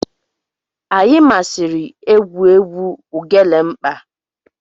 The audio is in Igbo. Anyi masiri egwu egwu Ugelemkpa.